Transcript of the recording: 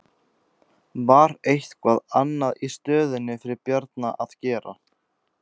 Var eitthvað annað í stöðunni fyrir Bjarna að gera?